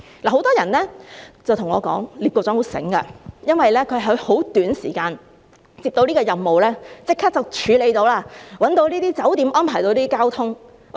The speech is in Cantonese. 很多人對我說聶局長很聰明，因為他在很短時間接到這個任務，便立即處理到，找到這些酒店，安排到交通。